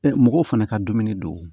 mɔgɔw fana ka dumuni don